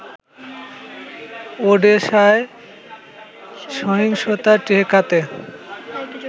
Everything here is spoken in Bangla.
ওডেসায় সহিংসতা ঠেকাতে